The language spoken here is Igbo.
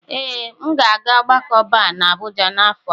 Ee, m ga-aga ogbako Bar na Abuja n'afọ a.